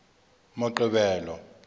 moqebelo